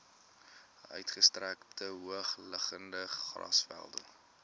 uitgestrekte hoogliggende grasvelde